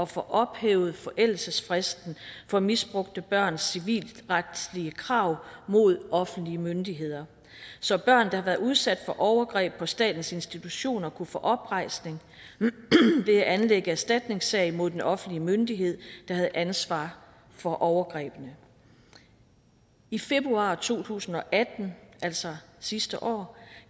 få ophævet forældelsesfristen for misbrugte børns civilretlige krav mod offentlige myndigheder så børn der har været udsat for overgreb på statens institutioner kunne få oprejsning ved at anlægge erstatningssag mod den offentlige myndighed der havde ansvaret for overgrebene i februar to tusind og atten altså sidste år